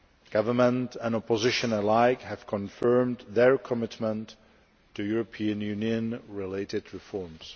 Government and opposition alike have confirmed their commitment to European Union related reforms.